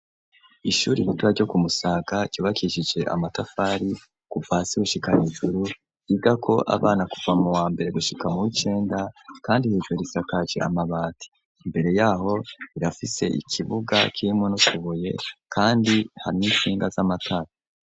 Ishure ritoya ryo kumusaga ryubakishije amatafari ku kuva hasi gushika hijuru, iga ko abana kuvamo wa mbere gushika mu w'icenda, kandi hejuru risakaci amabati imbere yaho irafise ikibuga ciimuno tubuye kandi hari n'insinga z'amatara.